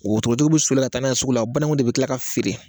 Wotorotigiw bi sɔli ka taa n'a sugu la o banangu de bi kila ka feere